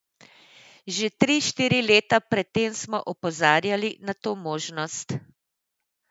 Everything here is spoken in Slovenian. Že tri, štiri leta pred tem smo opozarjali na to možnost.